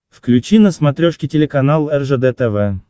включи на смотрешке телеканал ржд тв